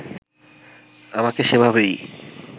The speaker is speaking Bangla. আমাকে সেভাবেই